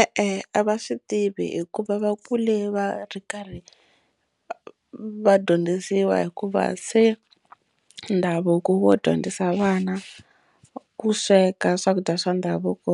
E-e a va swi tivi hikuva va kule va ri karhi va dyondzisiwa hikuva se ndhavuko wo dyondzisa vana ku sweka swakudya swa ndhavuko